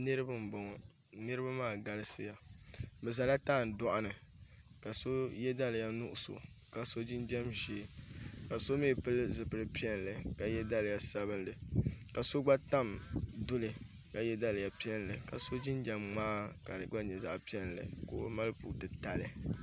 Niraba n boŋo niraba maa galisiya bi ʒɛla tandoɣu ni ka so yɛ daliya nuɣso ka so jinjɛm ʒiɛ ka so mii pili zipili piɛlli ka yɛ daliya sabinli ka so gba tam duli ka yɛ daliya piɛlli ka so jinjɛm ŋmaa ka di gba nyɛ zaɣ piɛlli ka o mali pu titali